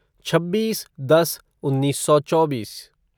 छब्बीस दस उन्नीस सौ चौबीस